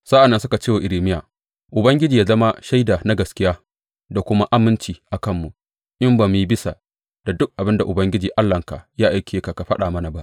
Sa’an nan suka ce wa Irmiya, Ubangiji ya zama shaida na gaskiya da kuma aminci a kanmu in ba mu yi bisa da duk abin da Ubangiji Allahnka ya aike ka ka faɗa mana ba.